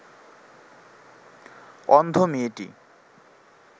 অন্ধ মেয়েটি